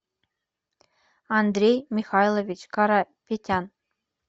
андрей михайлович карапетян